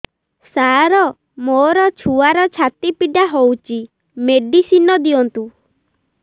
ସାର ମୋର ଛୁଆର ଛାତି ପୀଡା ହଉଚି ମେଡିସିନ ଦିଅନ୍ତୁ